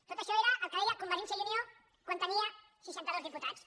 tot això era el que deia convergència i unió quan tenia seixanta dos diputats